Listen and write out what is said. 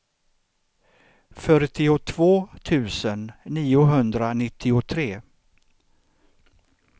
fyrtiotvå tusen niohundranittiotre